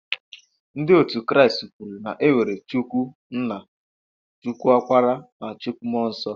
Ndị otu Kraịst kwere na enwere Chukwu nna, Chukwu okpara na Chukwu mmụọ nsọ.